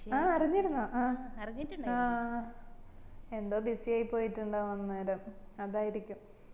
ആഹ് അറിഞ്ഞിരുന്നോ ആഹ് ആഹ് ആഹ് എന്തോ busy ആയിപ്പൊയിട്ടുണ്ടാവും അന്നേരം അതായിരിക്കും